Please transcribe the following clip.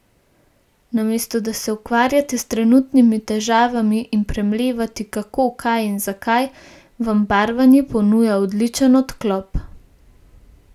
Namesto da se ukvarjate s trenutnimi težavami in premlevate, kako, kaj in zakaj, vam barvanje ponuja odličen odklop.